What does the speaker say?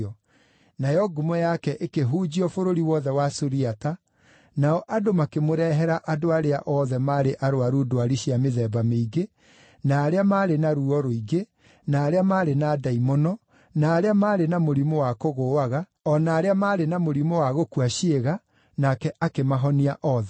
Nayo ngumo yake ĩkĩhunjio bũrũri wothe wa Suriata, nao andũ makĩmũrehera andũ arĩa othe maarĩ arũaru ndwari cia mĩthemba mĩingĩ, na arĩa maarĩ na ruo rũingĩ, na arĩa maarĩ na ndaimono, na arĩa maarĩ na mũrimũ wa kũgũũaga, o na arĩa maarĩ na mũrimũ wa gũkua ciĩga, nake akĩmahonia othe.